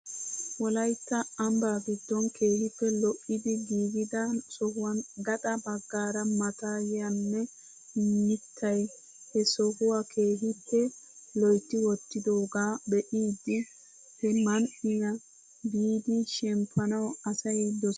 Wolaytta ambbaa giddon keehippe lo'idi giigida sohuwaan gaxa baggaara maatayinne miittay he sohuwaa keehippe loytti wottidoogaa be'idi he man"iyaa biidi shemppanwu asay doses.